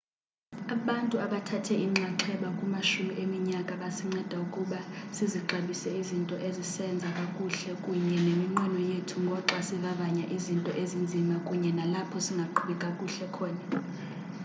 abantu abathathe inxaxheba kumashumi eminyaka basinceda ukuba sizixabise izinto esizenza kakuhle kunye neminqweno yethu ngoxa sivavanya izinto ezinzima kunye nalapho singaqhubi kakuhle khona